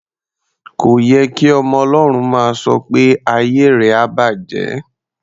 Kò ye kí ọmọ Ọlọ́run máa sọ pé "ayé rẹ á bàjẹ́".